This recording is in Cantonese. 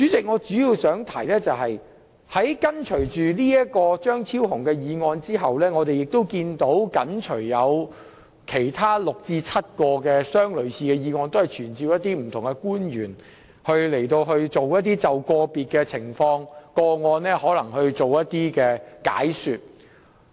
我主要想提出的是，在張超雄議員這項議案後，亦緊隨有6至7項類似的議案，提出傳召不同官員就個別情況或個案作出解說。